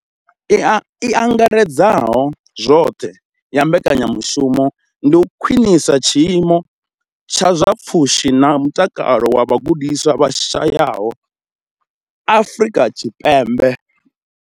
I angaredzaho zwoṱhe ya mbekanyamushumo ndi u khwinisa tshiimo tsha zwa pfushi na mutakalo zwa vhagudiswa vha shayaho Afrika Tshipembe.